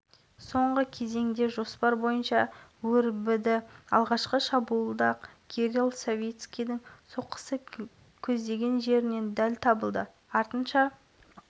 минутта артем бурделев және минутта кирилл савицкий минутта және мадияр ыбрайбеков минутта шабуылдарды нәтижелі аяқтады